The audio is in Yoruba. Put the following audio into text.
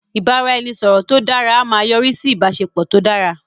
ibaraẹnisọrọ tó dara a máa yọrisi sí ìbáṣepọ̀ tó dára